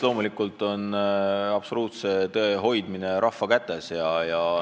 Loomulikult on absoluutse tõe üle otsustamine rahva kätes.